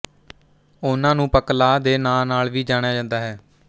ਉਹਨਾਂ ਨੂੰ ਪਕ ਲਾਹ ਦੇ ਨਾਂਅ ਨਾਲ ਵੀ ਜਾਣਿਆ ਜਾਂਦਾ ਹੈ